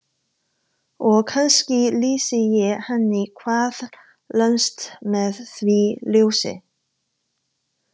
Og kannski lýsi ég henni hvað lengst með því ljósi.